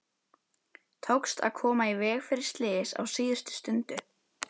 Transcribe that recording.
Tókst að koma í veg fyrir slys á síðustu stundu.